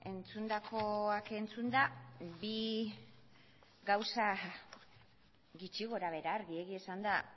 bueno entzundakoak entzunda bi gauza gutxi gora behera argi egia esanda